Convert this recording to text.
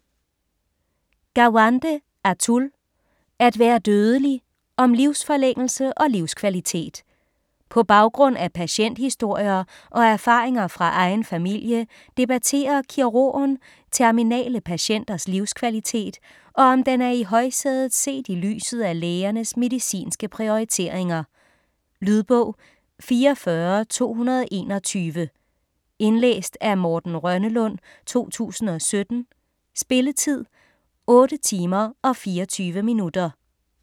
Gawande, Atul: At være dødelig: om livsforlængelse og livskvalitet På baggrund af patienthistorier og erfaringer fra egen familie debatterer kirurgen terminale patienters livskvalitet, og om den er i højsædet set i lyset af lægernes medicinske prioriteringer. Lydbog 44221 Indlæst af Morten Rønnelund, 2017. Spilletid: 8 timer, 24 minutter.